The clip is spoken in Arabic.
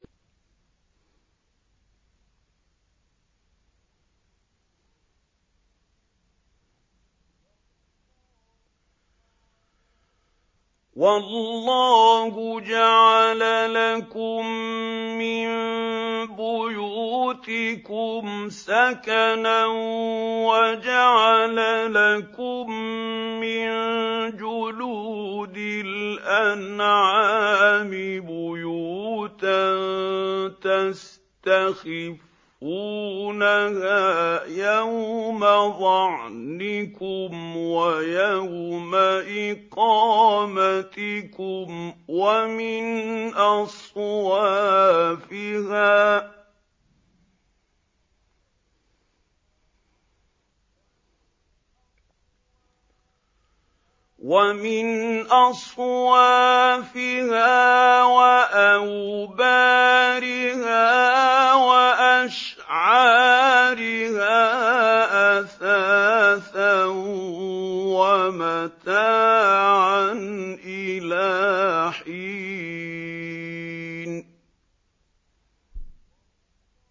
وَاللَّهُ جَعَلَ لَكُم مِّن بُيُوتِكُمْ سَكَنًا وَجَعَلَ لَكُم مِّن جُلُودِ الْأَنْعَامِ بُيُوتًا تَسْتَخِفُّونَهَا يَوْمَ ظَعْنِكُمْ وَيَوْمَ إِقَامَتِكُمْ ۙ وَمِنْ أَصْوَافِهَا وَأَوْبَارِهَا وَأَشْعَارِهَا أَثَاثًا وَمَتَاعًا إِلَىٰ حِينٍ